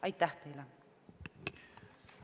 Aitäh teile!